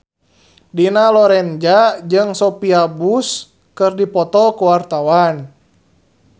Dina Lorenza jeung Sophia Bush keur dipoto ku wartawan